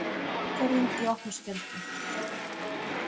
Ákvörðun í opna skjöldu